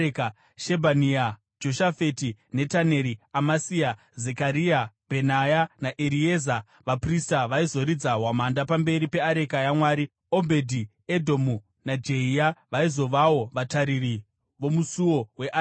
Shebhania, Joshafati, Netaneri, Amasai, Zekaria, Bhenaya naErieza vaprista vaizoridza hwamanda pamberi peareka yaMwari. Obhedhi-Edhomu naJehia vaizovawo vatariri vomusuo weareka.